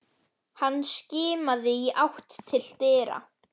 Hann skimaði í átt til dyra.